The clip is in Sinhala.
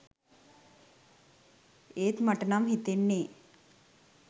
ඒත් මට නම් හිතෙන්නේ